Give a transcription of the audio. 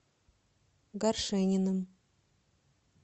горшениным